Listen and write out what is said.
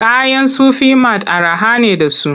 Kayan Sufi mat araha ne da su.